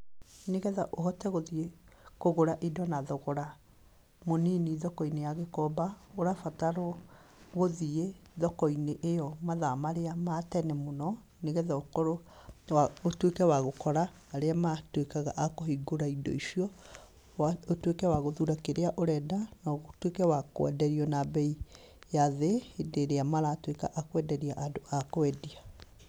Nĩgetha ũhote gũthiĩ kũgũra indo na thogora mũnini thoko-inĩ ya Gikomba, ũrabatarwo gũthiĩ thoko-inĩ ĩyo mathaa marĩa ma tene mũno, nĩgetha ũkorwo ũtuĩke wa gũkora arĩa matuĩkaga a kũhingũra indo icio, ũtuĩke wa gũthura kĩrĩa ũrenda, na ũtuĩke wa kwenderio na mbei ya thĩ, hĩndĩ ĩrĩa maratuĩka a kwenderia andũ a kwendia.